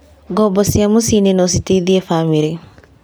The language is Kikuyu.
Ngombo cia mĩci-inĩ no citeithie bamĩrĩ.